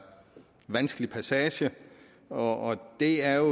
vanskelig passage og det er